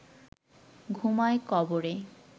ঘুমায় কবরে